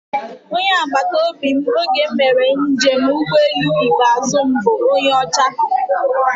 Onye agbataobi m oge m mere njem ụgbọelu ikpeazụ m bụ onye ọcha